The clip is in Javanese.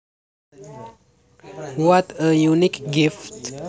What a unique gift